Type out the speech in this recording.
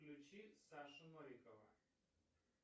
включи сашу новикова